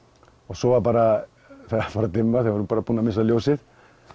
svo var bara farið að dimma við vorum búin að missa ljósið